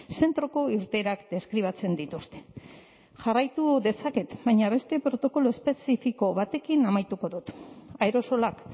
zentroko irteerak deskribatzen dituzte jarraitu dezaket baina beste protokolo espezifiko batekin amaituko dut aerosolak